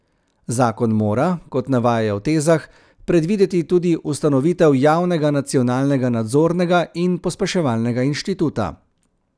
Zakon mora, kot navajajo v tezah, predvideti tudi ustanovitev javnega nacionalnega nadzornega in pospeševalnega inštituta.